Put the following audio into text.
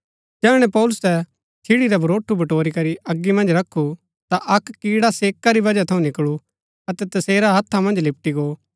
जैहणै पौलुसै छिड़ी रा भरोठू बटोरीकरी अगी मन्ज रखु ता अक्क किड्डा सेका री वजह थऊँ निकळू अतै तसेरै हत्था मन्ज लिपटी गो